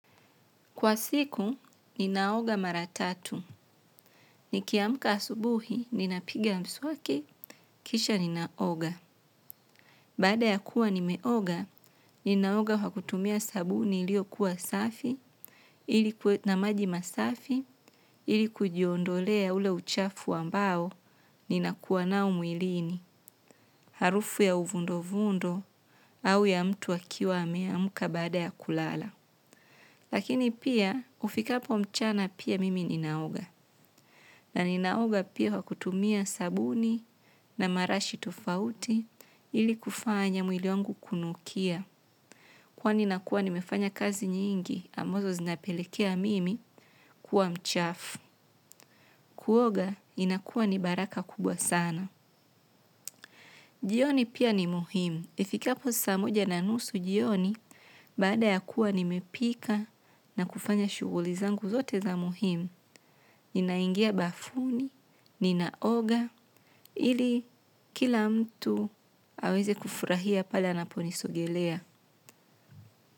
Kwa siku ninaoga mara tatu. Nikiamka asubuhi, ninapiga mswaki, kisha ninaoga. Baada ya kuwa nimeoga ninaoga kwa kutumia sabuni iliyo kuwa safi ma maji masafi ili kujiondolea ule uchafu ambao ninakuwa nao mwilini harufu ya uvundo vundo au ya mtu akiwa ameamka baada ya kulala. Lakini pia kufika hapo mchana pia mimi ninaoga. Na ninaoga pia kwa kutumia sabuni na marashi tofauti ili kufanya mwili wangu kunukia. Kwa nakuwa nimefanya kazi nyingi, ambazo zinapelekea mimi kuwa mchafu. Kuoga inakuwa ni baraka kubwa sana. Jioni pia ni muhimu. Ifikapo saa moja na nusu jioni baada ya kuwa nimepika na kufanya shughuli zangu zote za muhimu. Ninaingia bafuni ninaoga ili kila mtu aweze kufurahia pale anaponisogelea.